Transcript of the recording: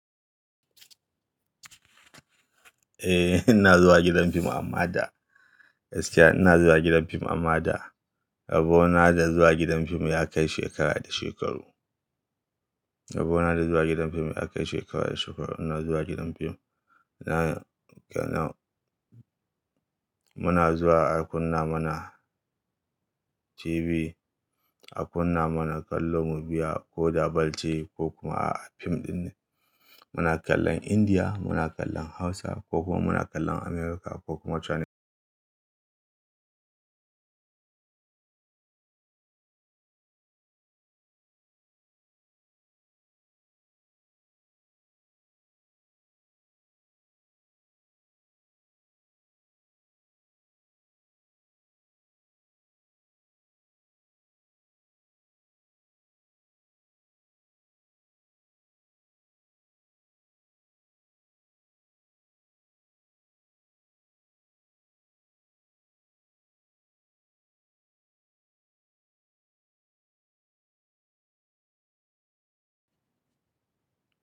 Eh, ina zuwa gidan fim amma da. Gaskiya ina zuwa gidan fim amma da. Rabona da zuwa gidan fim ya kai shekara da shekaru. Rabo na da zuwa gidan fim ya kai shekara da shekaru. Ina zuwa gidan fim. Na, muna zuwa a kunna mana TV, a kunna mana kallo mu biya ko da ball ce ko kuma a fim ɗin muna kallon Indiya, muna kallon Hausa ko kuma muna kallon America ko kuma China.